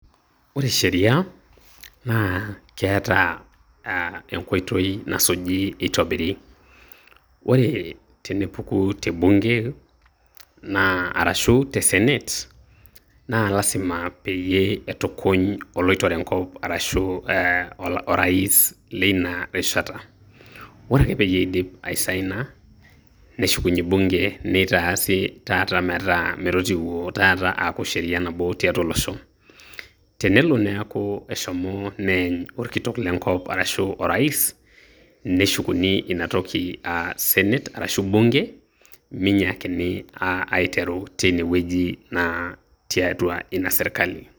Ore sheriaa, naa keeta aah enkoitoi naasuji eitobiri, ore tenepuku te bunge, naa arashu te Senate naa lazima peyie etukuny oloitore enkop arashu Orais leina rishata, ore ake pee eidip asaina neshukunye bunge neitaasi taata metaa metotiwuo taataa metaaa sheria nabo to losho tenelo neeko neeny orkitok lekop arashu orais, neshukuni ina toki aaah senate arashu bunge, meinyakini aah aitero tine wueji naa tiatwa ina serkali.